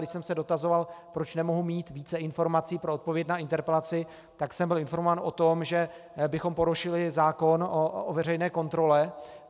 Když jsem se dotazoval, proč nemohu mít více informací pro odpověď na interpelaci, tak jsem byl informován o tom, že bychom porušili zákon o veřejné kontrole.